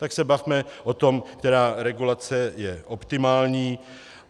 Tak se bavme o tom, která regulace je optimální.